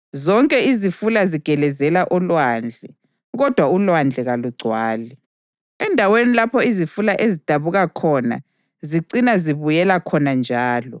Zonke izifula zigelezela olwandle, kodwa ulwandle kalugcwali. Endaweni lapho izifula ezidabuka khona zicina zibuyela khona njalo.